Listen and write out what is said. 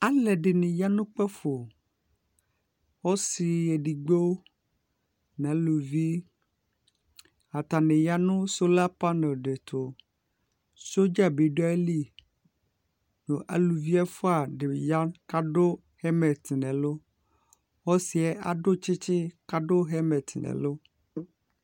alɛdinɩ yanu ʊkpafo , ɔsi edigbo n'alʊvi , atani yanu solar panel di tu sodzabi du ayilɩ nʊ alʊvi ɛfua di ya kadu helmet nɛlʊ , osiɛ adʊ tsitsi kadu helmet nɛlʊ